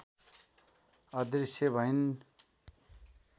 अदृश्य भइन्